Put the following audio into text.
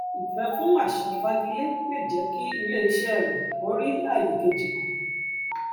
ìfẹ fún àṣà fagilé lè jẹ kí iléiṣẹ rẹ kó rí àyè kejì mọ